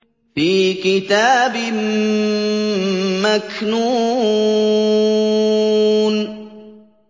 فِي كِتَابٍ مَّكْنُونٍ